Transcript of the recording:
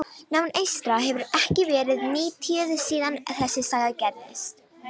Náman eystra hefur ekki verið nytjuð, síðan þessi saga gerðist.